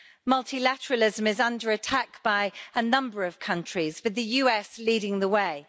Multilateralism is under attack by a number of countries, with the US leading the way.